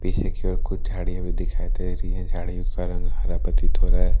पीछे की ओर कुछ झाड़ियां भी दिखाई दे रही है झाड़ी उसका रंग हरा प्रतीत हो रहा है।